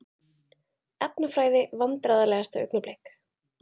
Efnafræði Vandræðalegasta augnablik?